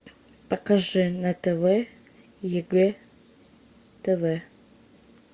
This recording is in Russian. покажи на тв егэ тв